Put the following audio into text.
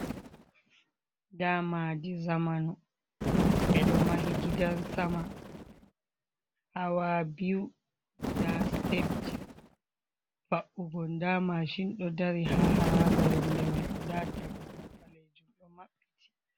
Nda madi zamanu: Be do mahi gidan sama hawa biyu. nda stepji va’ugo, nda machine do dari ha haraba yonde mai. Nda dammugal balejum do mabbiti.